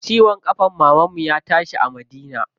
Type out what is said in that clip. Ciwon ƙafan mamanmu ya tashi a Madina.